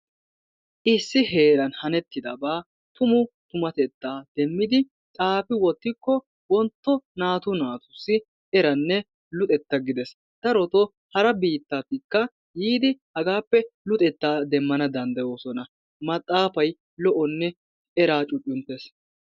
Issi heeran hanettidaba tumu tumateta demidi xaafi wottikko wontto naatu naatussi erane luxetta gidees. Daroto hara biittatika yiidi hagaappe luxetta demmana danddayosona. Maxaafay lo'onne eraa cucunttees.